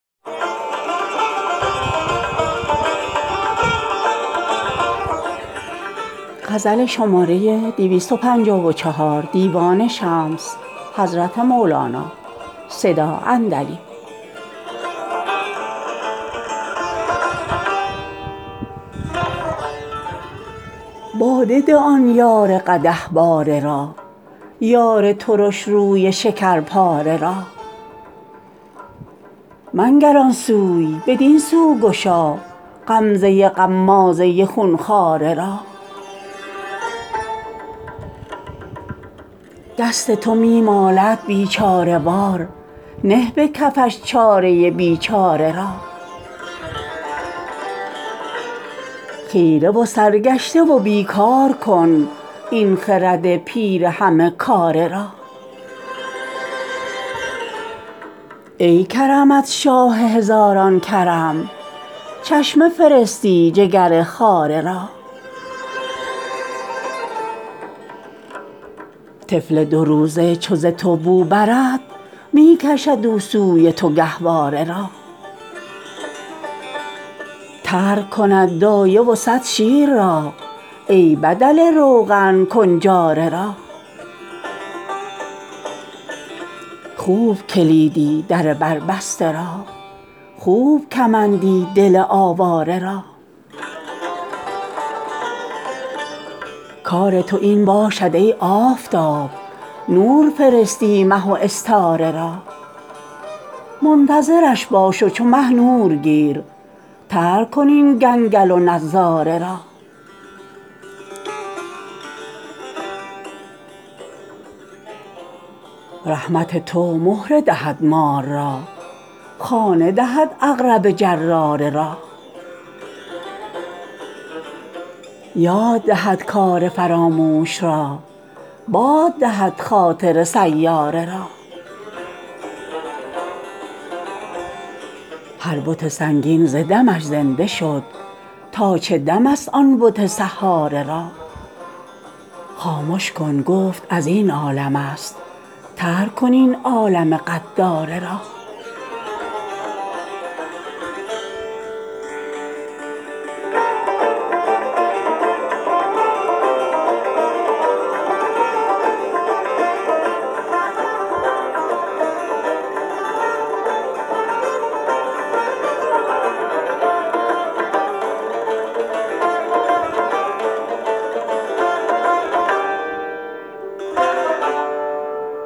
باده ده آن یار قدح باره را یار ترش روی شکرپاره را منگر آن سوی بدین سو گشا غمزه غمازه خون خواره را دست تو می مالد بیچاره وار نه به کفش چاره بیچاره را خیره و سرگشته و بی کار کن این خرد پیر همه کاره را ای کرمت شاه هزاران کرم چشمه فرستی جگر خاره را طفل دو-روزه چو ز تو بو برد می کشد او سوی تو گهواره را ترک کند دایه و صد شیر را ای بدل روغن کنجاره را خوب کلیدی در بر بسته را خوب کمندی دل آواره را کار تو این باشد ای آفتاب نور فرستی مه و استاره را منتظرش باش و چو مه نور گیر ترک کن این گنگل و نظاره را رحمت تو مهره دهد مار را خانه دهد عقرب جراره را یاد دهد کار فراموش را باد دهد خاطر سیاره را هر بت سنگین ز دمش زنده شد تا چه دم ست آن بت سحاره را خامش کن گفت از این عالم است ترک کن این عالم غداره را